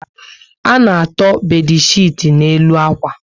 A na-atọ bedchiti n'elu akwa